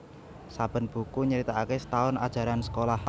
Saben buku nyritakake setaun ajaran sekolah